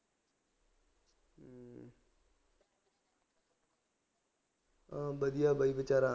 ਚੱਲੋ ਵਧੀਆ ਬਾਈ ਬੇਚਾਰਾ